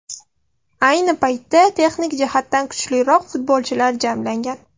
Ayni paytda texnik jihatdan kuchliroq futbolchilar jamlangan.